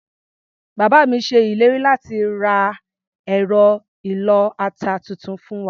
Bàbá mi ṣe ìlérí láti ra ẹ̀rọ ìlọ-ata tuntun fún wa.